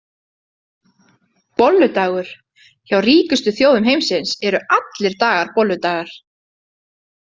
Bolludagur Hjá ríkustu þjóðum heimsins eru allir dagar bolludagar.